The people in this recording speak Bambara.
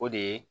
O de ye